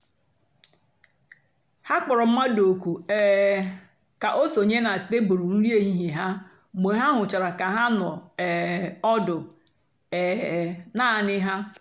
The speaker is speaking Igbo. ha kpọ̀rọ̀ mmadụ́ òkù́ um kà o sònyè na tèbụ́lụ́ nri èhìhiè ha mgbe ha hụ̀chàra kà ha nọ̀ um ọ́dụ́ um naanì ha.